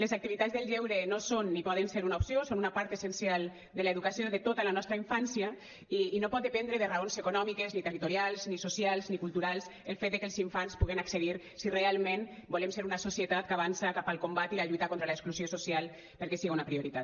les activitats del lleure no són ni poden ser una opció són una part essencial de l’educació de tota la nostra infància i no pot dependre de raons econòmiques ni territorials ni socials ni culturals el fet de que els infants hi pugan accedir si realment volem ser una societat que avança cap al combat i la lluita contra l’exclusió social perquè siga una prioritat